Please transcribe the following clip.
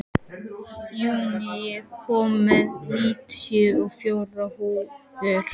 Júní, ég kom með níutíu og fjórar húfur!